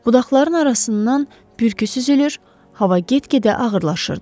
Budaqların arasından külək süzülür, hava get-gedə ağırlaşırdı.